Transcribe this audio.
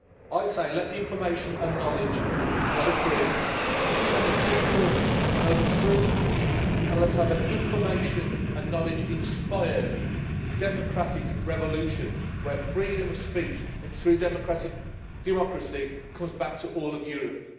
I say, let the information and knowledge flow free. Let the people know the truth and let us have an information and knowledge inspired democratic revolution where freedom of speech and true democratic democracy come back to all of Europe.